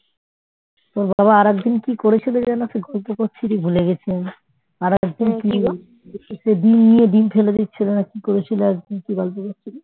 তোর বাবা আরেকদিন কি করেছিল যেন তুই গল্প করছিলি ভুলে গেছি আমি আরেকজন কি সেই ডিম নিয়ে ডিম ফেলে দিচ্ছিল না কি করেছিল আরেকদিন কি গল্প করছিলি